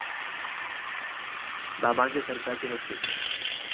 बाबां'च्या सरकारची हॅटट्रिक!